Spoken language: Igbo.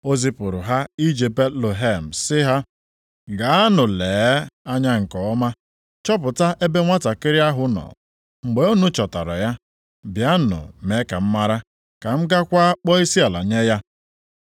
O zipụrụ ha ije Betlehem sị ha, “Gaanụ lee anya nke ọma chọpụta ebe nwantakịrị ahụ nọ. Mgbe unu chọtara ya, bịanụ mee ka m mara, ka m gaakwa kpọọ isiala nye ya.”